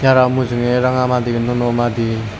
aro mujunge ranga madi nuo nuo madi.